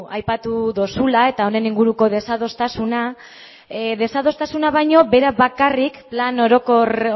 aipatu duzula eta honen inguruko desadostasuna desadostasuna baino bera bakarrik plan orokor